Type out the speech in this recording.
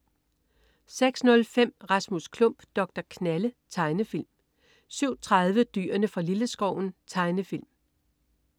06.05 Rasmus Klump. Doktor Knalle. Tegnefilm 07.30 Dyrene fra Lilleskoven. Tegnefilm